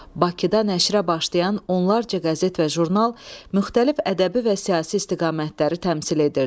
Bakıda nəşrə başlayan onlarla qəzet və jurnal müxtəlif ədəbi və siyasi istiqamətləri təmsil edirdi.